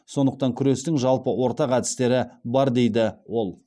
сондықтан күрестің жалпы ортақ әдістері бар дейді ол